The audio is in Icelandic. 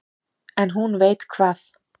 En hún veit hvað